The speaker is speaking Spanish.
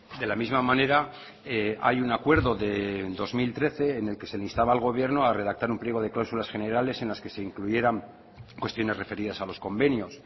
de la misma manera hay un acuerdo de dos mil trece en el que se le instaba al gobierno a redactar un pliego de cláusulas generales en las que se incluyeran cuestiones referidas a los convenios